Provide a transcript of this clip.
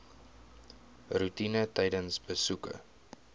roetine tydens besoeke